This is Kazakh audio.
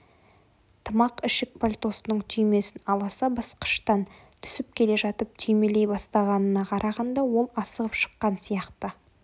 тымақ ішік пальтосының түймесін аласа басқыштан түсіп келе жатып түймелей бастағанына қарағанда ол асығып шыққан сияқты